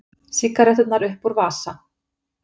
Sígaretturnar upp úr vasa.